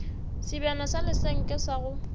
sebjana sa lesenke sa go